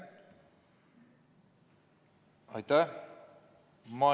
Aitäh!